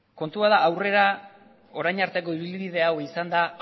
kontua da orain arteko ibilbidea izan da